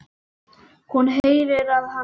Hún heyrir að hann hlær.